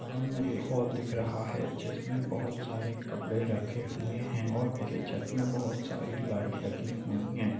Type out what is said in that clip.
सामने एक हॉल दिख रहा है जिसमें बहुत सारे कपड़े रखे हुए है और ये छत में बहुत सारी लाईट लगी हुई है।